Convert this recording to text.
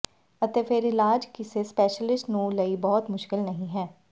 ਅਤੇ ਫਿਰ ਇਲਾਜ ਕਿਸੇ ਸਪੈਸ਼ਲਿਸਟ ਨੂੰ ਲਈ ਬਹੁਤ ਮੁਸ਼ਕਲ ਨਹੀ ਹੈ